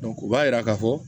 o b'a yira k'a fɔ